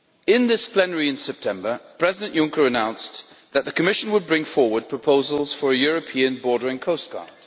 In this plenary in September, President Juncker announced that the Commission would bring forward proposals for a European Border and Coast Guard.